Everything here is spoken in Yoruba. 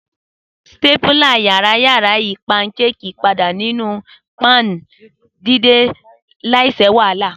Sípátúlá yarayara yi pankéèkì pada ninu pan didin laisi wahala.